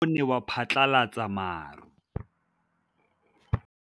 Mowa o wa go foka tota o ne wa phatlalatsa maru.